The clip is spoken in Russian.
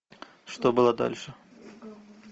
что было дальше